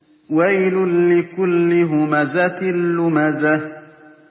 وَيْلٌ لِّكُلِّ هُمَزَةٍ لُّمَزَةٍ